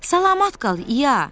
Salamat qal, İya.